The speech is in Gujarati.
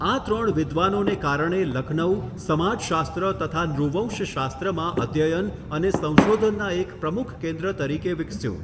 આ ત્રણ વિદ્વાનોને કારણે લખનઉ સમાજશાસ્ત્ર તથા નૃવંશશાસ્ત્રમાં અધ્યયન અને સંશોધનના એક પ્રમુખ કેન્દ્ર તરીકે વિકસ્યું.